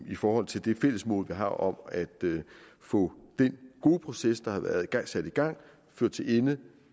i forhold til det fælles mål vi har om at få den gode proces der har været og er sat i gang ført til ende